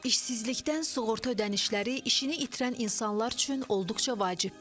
İşsizlikdən sığorta ödənişləri işini itirən insanlar üçün olduqca vacibdir.